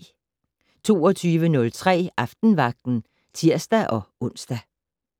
22:03: Aftenvagten (tir-ons)